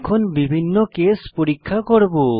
এখন বিভিন্ন কেস পরীক্ষা করব